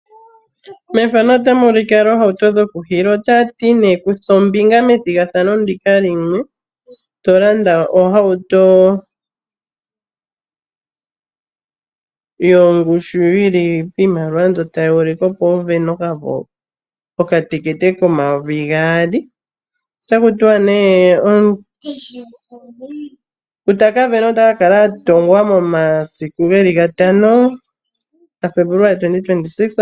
Mefano otamu ulike oohauto dhoku hiila. Otaya ti nee kutha ombinga methigathano ndika limwe to landa ohauto yongushu yili piimaliwa mbyono tayi ulike opo wu vene okatekete komayovi gaali ota ku tiwa nee ngu taka kala avena ota kala a tothwamo momasiku gatano gaFebuluali omayovi gaali nomilongo mbali nane.